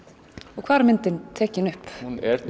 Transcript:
og hvar er myndin tekin upp hún er